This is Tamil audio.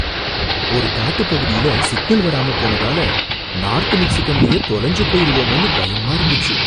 ஒரு காட்டுப் பகுதியில சிக்னல் வராம போனதால நார்த் மிச்சிகன்லையே தொலைஞ்சு போயிருவோமோன்னு பயமா இருந்துச்சு.